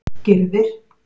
Gyrðir